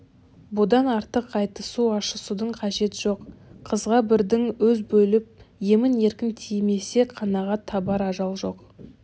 бұдан артық айтысу ашысудың қажет жоқ қызға бірдің өз болып емін-еркін тимесе қанағат табар ажал жоқ